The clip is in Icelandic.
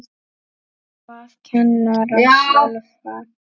Og hvað kennara sjálfa?